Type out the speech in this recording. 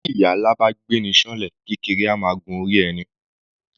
Bí ìyà ńlá bá gbé'ni ṣán'lẹ̀, kéékèèké á máa gun orí ẹni.